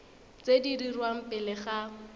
tse di dirwang pele ga